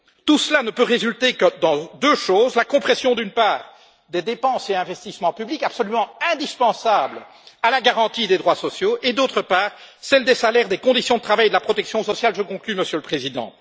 Tout cela ne peut résulter que dans deux choses d'une part, la compression des dépenses et investissements publics absolument indispensables à la garantie des droits sociaux et, d'autre part, celle des salaires, des conditions de travail et de la protection sociale je conclus, Monsieur le Président.